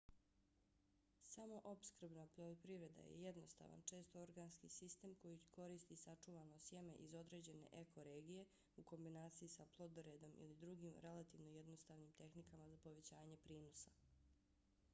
samoopskrbna poljoprivreda je jednostavan često organski sistem koji koristi sačuvano sjeme iz određene eko-regije u kombinaciji sa plodoredom ili drugim relativno jednostavnim tehnikama za povećanje prinosa